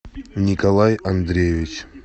николай андреевич